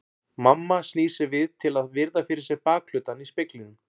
Mamma snýr sér við til að virða fyrir sér bakhlutann í speglinum.